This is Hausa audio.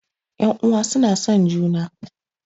Ƴan uwa suna son juma